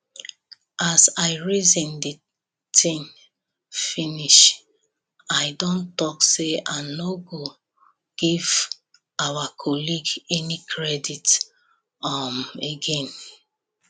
as i reason the thing finish i don talk say i no go give our colleague any credit um again